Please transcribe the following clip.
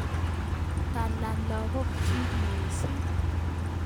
Tala lakokchi mising